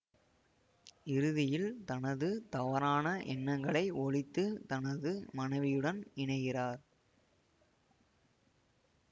இறுதியில் தனது தவறான எண்ணங்களை ஒழித்து தனது மனைவியுடன் இணைகிறார்